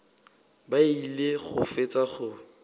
ba ile go fetša go